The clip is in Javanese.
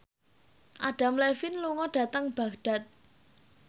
Adam Levine lunga dhateng Baghdad